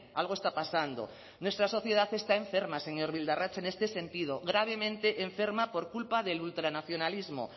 algo está pasando nuestra sociedad está enferma señor bildarratz en este sentido gravemente enferma por culpa del ultranacionalismo